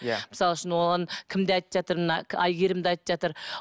иә мысал үшін оған кім де айтып жатыр мына әйгерім де айтып жатыр